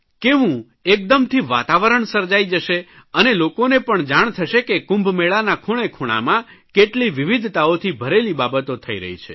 કેવું એકદમથી વાતાવરણ સર્જાઇ જશે અને લોકોને પણ જાણ થશે કે કુંભમેળાના ખૂણેખૂણામાં કેટલી વિવિધતાઓથી ભરેલી બાબતો થઇ રહી છે